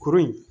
Kuru in